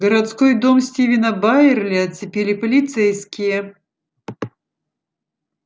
городской дом стивена байерли оцепили полицейские